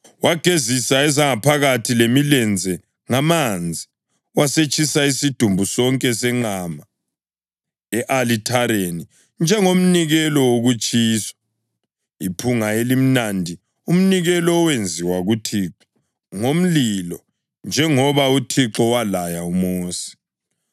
Wagezisa ezangaphakathi lemilenze ngamanzi, wasetshisa isidumbu sonke senqama e-alithareni njengomnikelo wokutshiswa, iphunga elimnandi, umnikelo owenziwa kuThixo ngomlilo njengoba uThixo walaya uMosi.